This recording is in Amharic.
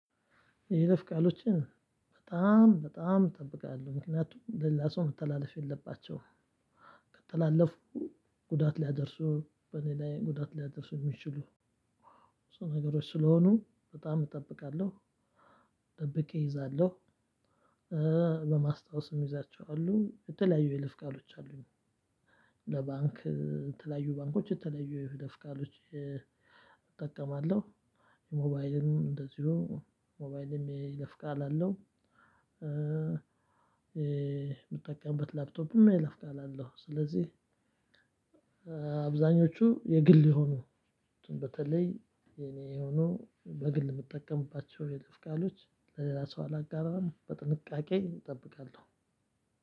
የይለፍ ቃሎችን በጣም በጣም እጠብቃለሁ ምክንያቱም ለሌላ ሰው መተላለፍ የለባቸውም። ከተላለፉ ጉዳት ሊያደርሱ በእኔ ላይ ጉዳት ሊያደርሱ የሚችሉ። እሱ ነገሮች ስለሆኑ በጣም እጠብቃለሁ። ጠብቄ እይዛለሁ። በማስታወስ የምይዛቸው አሉ የተለያዩ የይልፍ ቃሎች አሉኝ። ለባንክ የተለያዩ ባንኮች የተለያዩ የይለፍ ቃሎች እጠቀማለሁ። ሞባይልም እንደዚሁ ሞባይልም የይለፍ ቃል አለው። የምጠቀምበት ላፕቶፕም የይለፍ ቃል አለው። ስለዚህ አብዛኞቹ የግል የሆኑ በተለይ የኔ ሆኖ በግል የምጠቀምባቸው የይለፍ ቃሎች ለሌላ ሰው አላጋራም። በጥንቃቄ እጠብቃለሁ።